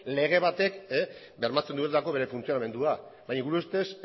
lege batek bermatzen dutelako bere funtzionamendua baina gure ustez